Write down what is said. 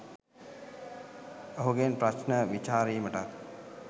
ඔහුගෙන් ප්‍රශ්න විචාරීමටත්